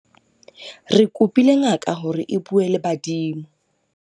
Re kopile ngaka hore e bue le badimo.